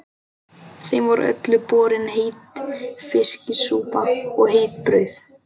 Þeim var öllum borin heit fiskisúpa og heitt brauð.